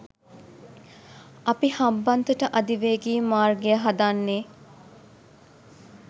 අපි හම්බන්තොට අධිවේගී මාර්ගය හදන්නේ